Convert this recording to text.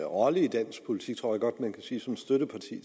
rolle i dansk politik tror jeg godt man kan sige som støtteparti